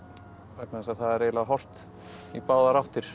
vegna þess að það er eiginlega horft í báðar áttir